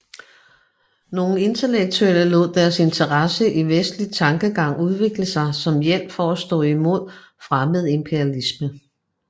Nogen intellektuelle lod deres interesse i vestlig tankegang udvikle sig som hjælp for at stå i mod fremmed imperialisme